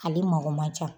Ale mako man ca